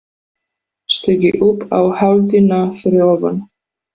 Stigi upp á hæðina fyrir ofan.